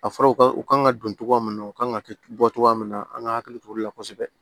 A fɔra u ka u ka kan ka don togoya min na u kan ka bɔ togoya min na an ka hakili t'olu la kosɛbɛ